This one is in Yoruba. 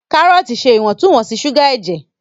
Karọọti ṣe Iwontun-wonsi suga ẹjẹ.